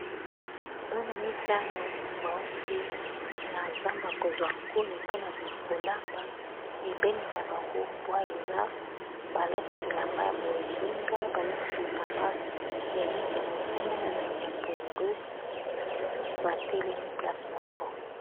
Bana mitano bauti na zamba kozwa nkoni mpona kolamba pembeni na bangombwa eza balati bilamba ya bozinga balati bilamba ya langi ya motane na lange ya pondu batelemi place moko.